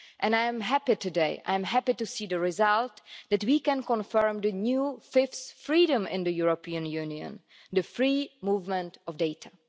I am happy today to see the result that we can confirm the new fifth freedom in the European Union the free movement of data.